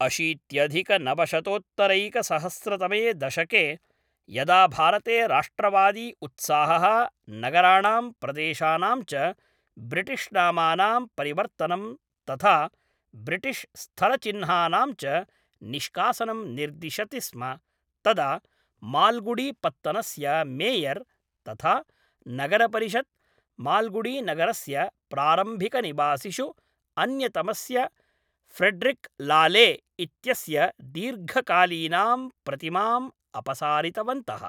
अशीत्यधिकनवशतोत्तरैकसकस्रतमे दशके यदा भारते राष्ट्रवादी उत्साहः नगराणां प्रदेशानां च ब्रिटिश् नामानां परिवर्तनं तथा ब्रिटिश् स्थलचिह्नानां च निष्कासनं निर्दिशति स्म, तदा माल्गुडी पत्तनस्य मेयर् तथा नगरपरिषद्, माल्गुडी नगरस्य प्रारम्भिकनिवासिषु अन्यतमस्य फ्रेड्रिक् लाले इत्यस्य दीर्घकालीनां प्रतिमाम् अपसारितवन्तः।